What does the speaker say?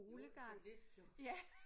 Jo sådan lidt jo